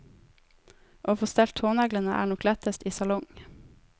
Å få stelt tåneglene er nok lettest i salong.